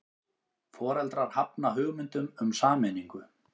Foreldrar hafna hugmyndum um sameiningu